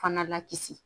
Fana lakisi